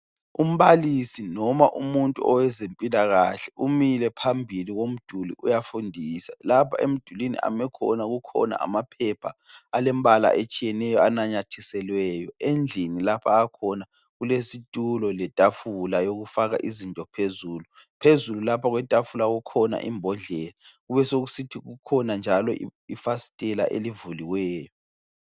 Umbalisi noma umuntu owezempilakahle umile phambili komduli uyafundisa. Lapha emdulini amekhona kukhona amaphepha alembala etshiyeneyo ananyathiselweyo. Endlini lapha akhona kulesitulo letafula yokufaka izinto phezulu. Phezulu lapha kwetafula kukhona imbodlela, kubesekusithi kukhona njalo ifasitela elivuliweyo.